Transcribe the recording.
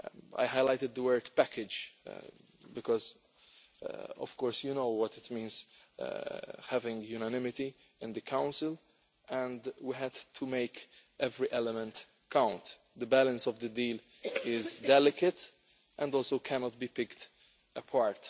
I highlighted the word package' because of course you know what it means having unanimity in the Council, and we had to make every element count. The balance of the deal is delicate and also cannot be picked apart.